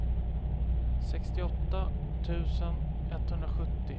sextioåtta tusen etthundrasjuttio